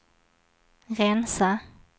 rensa